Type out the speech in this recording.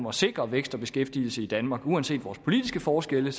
at sikre vækst og beskæftigelse i danmark uanset vores politiske forskelle